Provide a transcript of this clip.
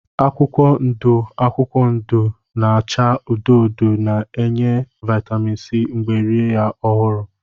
Akwụkwọ ndụ akwụkwọ ndụ na-acha odo odo na-enye vitamin C mgbe rie ya ọhụrụ